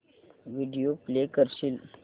video play करशील